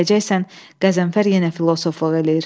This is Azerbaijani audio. Deyəcəksən Qəzənfər yenə filosofluq eləyir.